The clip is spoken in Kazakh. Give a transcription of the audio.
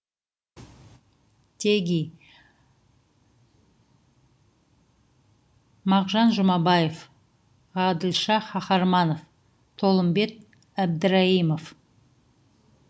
теги мағжан жұмабаев ғаділша қаһарманов толымбек әбдірайым